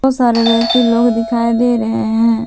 सारे व्यक्ति लोग दिखाई दे रहे हैं।